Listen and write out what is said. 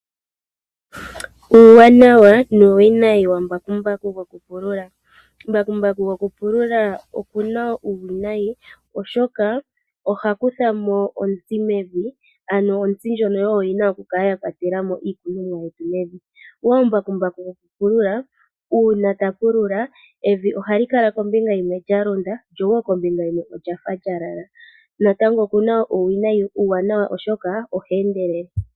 Uuwanawa nuuwinayi wembakumbaku lyoku pulula. Embakumbaku lyo kupulula olina uuwinayi oshoka ohali kuthamo ontsi mevi, yo ontsi oyo yina okukala yakwatelamo iikunomwa mevi. Uuna mbakumbaku tapulula evi ohalikala kombinga yimwe lyalonda ko kombinga yimwe olyafa lyalala. Natango embakumbaku olina uuwanawa oshoka o hali endelele.